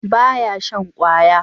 ba ya shan kwaya?